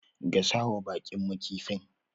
Gasawa baƙinmu kifin.